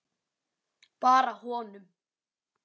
Bara honum.